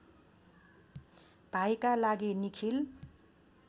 भाइका लागि निखिल